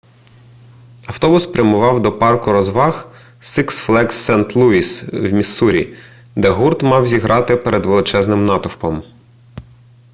автобус прямував до парку розваг сикс флеґс сент-луїс в міссурі де гурт мав зіграти перед величезним натовпом